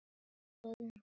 Við skulum passa mömmu.